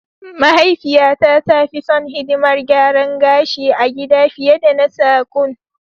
Mahaifiyata ta fi son hidimar garan gashi a gida fiye da na sagon.